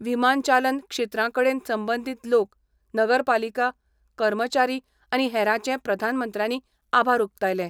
विमानचालन क्षेत्रा कडेन संबंदींत लोक, नगरपालिका, कर्मचारी आनी हेरांचे प्रधानमंत्र्यांनी आभार उक्तायलें.